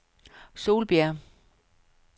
Solbjerg